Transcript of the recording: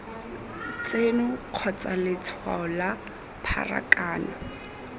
tseno kgotsa letshwao la pharakano